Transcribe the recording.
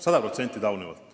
Sada protsenti taunivalt.